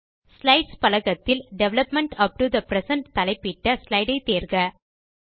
slides பலகத்தில் development up to the present தலைப்பிட்ட slide ஐ தேர்க